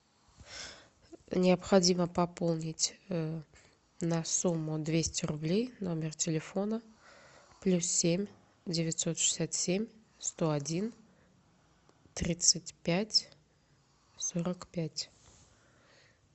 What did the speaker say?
необходимо пополнить на сумму двести рублей номер телефона плюс семь девятьсот шестьдесят семь сто один тридцать пять сорок пять